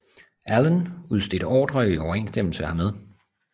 Allen udstedte ordrer i overensstemmelse hermed